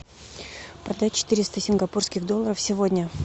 продать четыреста сингапурских долларов сегодня